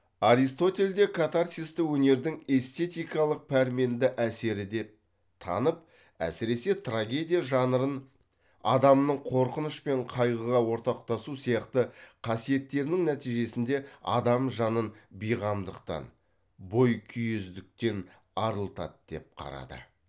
аристотель де катарсисті өнердің эстетикалық пәрменді әсері деп танып әсіресе трагедия жанрын адамның қорқыныш пен қайғыға ортақтасу сияқты қасиеттерінің нәтижесінде адам жанын бейқамдықтан бойкүйездіктен арылтады деп қарады